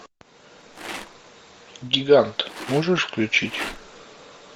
гигант можешь включить